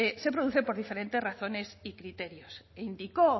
se producen por diferentes razones y criterios e indicó